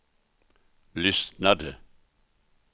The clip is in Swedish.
lyssnade